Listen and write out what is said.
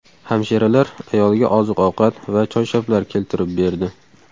Hamshiralar ayolga oziq-ovqat va choyshablar keltirib berdi.